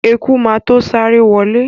Eku má to sáré wọlé.